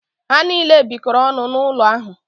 Ha niile bikọrọ ọnụ n’ụlọ ahụ